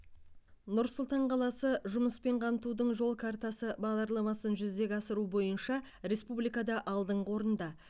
нұр сұлтан қаласы жұмыспен қамтудың жол картасы бағдарламасын жүзеге асыру бойынша республикада алдыңғы орында